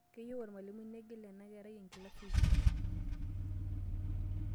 Keyieu olmalimui neigil ena kerae enkilasi e isiet.